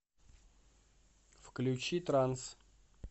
включи транс